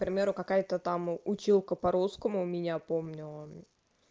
к примеру какая-то там училка по русскому меня помнила